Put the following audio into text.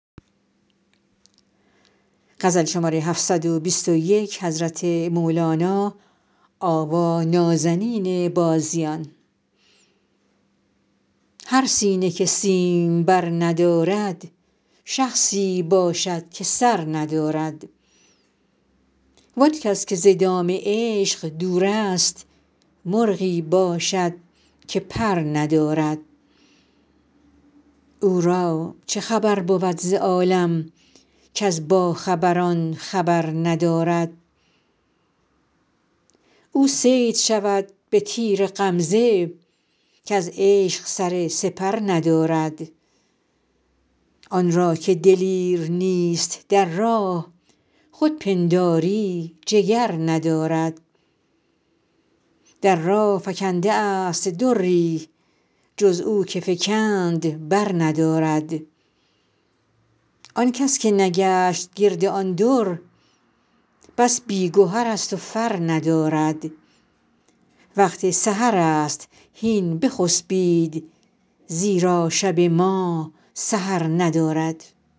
هر سینه که سیمبر ندارد شخصی باشد که سر ندارد وان کس که ز دام عشق دورست مرغی باشد که پر ندارد او را چه خبر بود ز عالم کز باخبران خبر ندارد او صید شود به تیر غمزه کز عشق سر سپر ندارد آن را که دلیر نیست در راه خود پنداری جگر ندارد در راه فکنده است دری جز او که فکند برندارد آن کس که نگشت گرد آن در بس بی گهرست و فر ندارد وقت سحرست هین بخسبید زیرا شب ما سحر ندارد